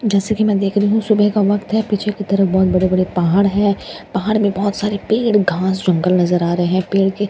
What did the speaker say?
जैसे कि मैं देख रही हूं सुबह का वक्त है पीछे की तरफ बहुत बड़े बड़े पहाड़ हैं पहाड़ में बहुत सारे पेड़ घास जंगल नजर आ रहे हैं पेड़ के सामने --